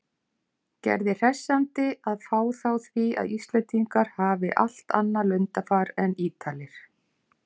Gerði hressandi að fá þá því að Íslendingar hafi allt annað lundarfar en Ítalir.